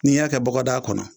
N'i y'a kɛ bɔgɔdaa kɔnɔ